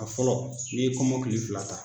A fɔlɔ i ye kɔmɔ kili fila ta.